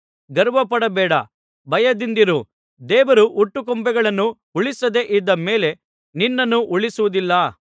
ಗರ್ವಪಡಬೇಡ ಭಯದಿಂದಿರು ದೇವರು ಹುಟ್ಟುಕೊಂಬೆಗಳನ್ನು ಉಳಿಸದೆ ಇದ್ದ ಮೇಲೆ ನಿನ್ನನ್ನೂ ಉಳಿಸುವುದಿಲ್ಲ